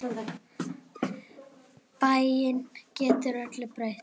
Bænin getur öllu breytt.